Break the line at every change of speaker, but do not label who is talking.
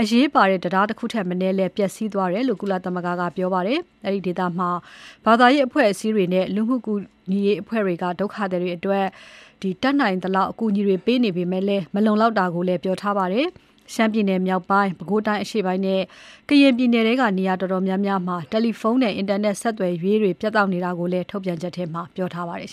အရေးပါတဲ့ တံတားတခုထက်မနည်းကလည်း ပျက်စီးသွားတယ်လို့ ကုလသမဂ္ဂက ပြောပါတယ်။ အဲဒီဒေသမှာ ဘာသာရေးအဖွဲ့အစည်းတွေနဲ့ လူမှုကူညီရေးအဖွဲ့တွေက ဒုက္ခသည်တွေအတွက် တတ်နိုင်သလောက် အကူအညီတွေပေးနေပေမဲ့ မလုံလောက်တာကိုလည်း ပြောထားပါတယ်။ ရှမ်းပြည်နယ်မြောက်ပိုင်း၊ ပဲခူးတိုင်းအရှေ့ပိုင်းနဲ့ ကရင်ပြည်နယ်ထဲက နေရာတော်တော်များများမှာ တယ်လီဖုန်းနဲ့ အင်တာနက်ဆက်သွယ်ရေးတွေ ပြတ်တောက်နေတာကိုလည်း ထုတ်ပြန်ချက်မှာ ပြောထားပါတယ်